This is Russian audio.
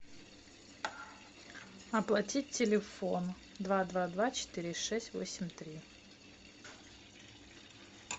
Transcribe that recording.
оплатить телефон два два два четыре шесть восемь три